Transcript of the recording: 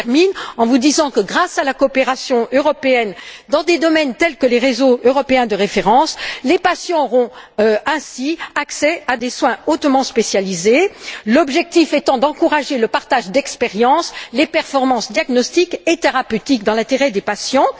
Je termine en vous disant que, grâce à la coopération européenne dans des domaines tels que les réseaux européens de référence, les patients auront ainsi accès à des soins hautement spécialisés, l'objectif étant d'encourager le partage d'expériences, afin d'améliorer les performances, les diagnostics et les thérapeutiques dans l'intérêt des patients.